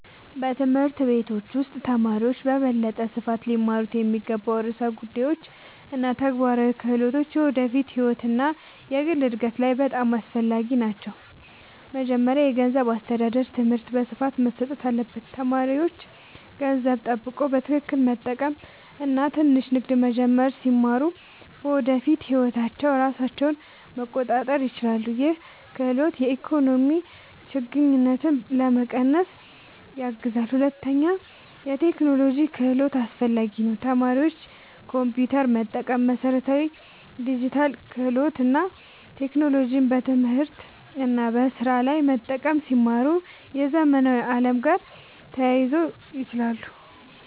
በትምህርት ቤቶች ውስጥ ተማሪዎች በበለጠ ስፋት ሊማሩ የሚገባቸው ርዕሰ ጉዳዮች እና ተግባራዊ ክህሎቶች የወደፊት ህይወት እና የግል እድገት ላይ በጣም አስፈላጊ ናቸው። መጀመሪያ የገንዘብ አስተዳደር ትምህርት በስፋት መሰጠት አለበት። ተማሪዎች ገንዘብ መቆጠብ፣ በትክክል መጠቀም እና ትንሽ ንግድ መጀመር ሲማሩ በወደፊት ህይወታቸው ራሳቸውን መቆጣጠር ይችላሉ። ይህ ክህሎት የኢኮኖሚ ችግኝትን ለመቀነስ ያግዛል። ሁለተኛ የቴክኖሎጂ ክህሎት አስፈላጊ ነው። ተማሪዎች ኮምፒውተር መጠቀም፣ መሠረታዊ ዲጂታል ክህሎት እና ቴክኖሎጂን በትምህርት እና በስራ ላይ መጠቀም ሲማሩ የዘመናዊ ዓለም ጋር ተያይዞ ይችላሉ።